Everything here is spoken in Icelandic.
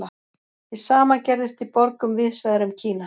Hið sama gerðist í borgum víðs vegar um Kína.